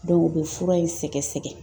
u be fura in sɛgɛsɛgɛ